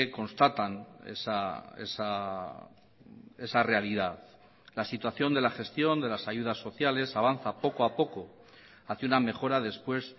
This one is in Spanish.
constatan esa realidad la situación de la gestión de las ayudas sociales avanza poco a poco hacia una mejora después